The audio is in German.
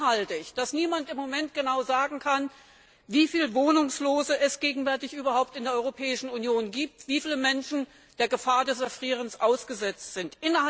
Für schlimm halte ich, dass niemand im Moment genau sagen kann, wie viele Wohnungslose es gegenwärtig überhaupt in der Europäischen Union gibt, wie viele Menschen der Gefahr des Erfrierens ausgesetzt sind.